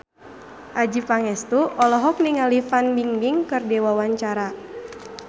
Adjie Pangestu olohok ningali Fan Bingbing keur diwawancara